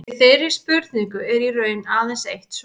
Við þeirri spurningu er í raun aðeins eitt svar.